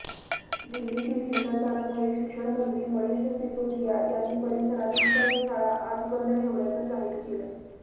दिल्लीतील हिंसाचारामुळे शिक्षणमंत्री मनिष सिसोदिया यांनी परिसरातील सर्व शाळा आज बंद ठेवण्याचं जाहीर केलं